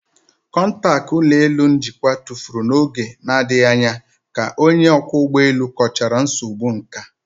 Kọntaktị ụlọ elu njikwa tụfuru n'oge na-adịghị anya ka onye ọkwọ ụgbọ elu kọchara nsogbu nka